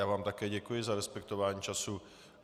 Já vám také děkuji za respektování času.